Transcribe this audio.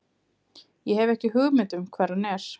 Ég hef ekki hugmynd um hvar hann er.